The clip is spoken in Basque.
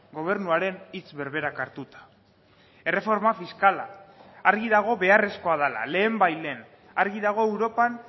gobernuaren hitz berberak hartuta erreforma fiskala argi dago beharrezkoa dela lehenbailehen argi dago europan